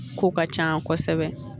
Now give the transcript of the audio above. Ko ka ca kosɛbɛ